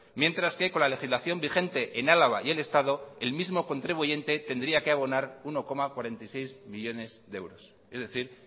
mientras que con la legislación vigente en álava y el estado el mismo contribuyente tendría que abonar uno coma cuarenta y seis millónes de euros es decir